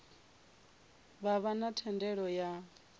vha vha na thendelo ya